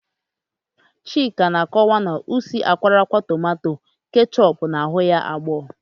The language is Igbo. Chika na-akọwa na usi akwọrọakwọ tomanto kechọpu na-aghu ya agbọọ.